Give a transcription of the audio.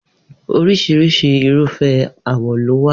Oríṣiríṣi Irúfẹ́ àwọ̀ ló wà